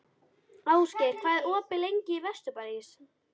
Ástgeir, hvað er opið lengi í Vesturbæjarís?